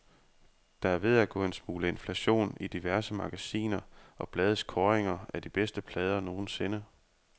Der er ved at gå en smule inflation i diverse magasiner og blades kåringer af de bedste plader nogensinde.